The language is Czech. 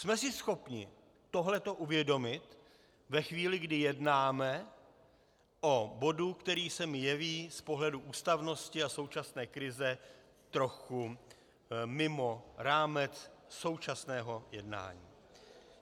Jsme si schopni tohle uvědomit ve chvíli, kdy jednáme o bodu, který se mi jeví z pohledu ústavnosti a současné krize trochu mimo rámec současného jednání?